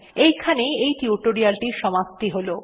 এইখানেই এই টির সমাপ্তি হল